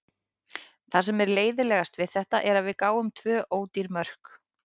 Það sem er leiðinlegast við þetta er að við gáfum tvö ódýr mörk.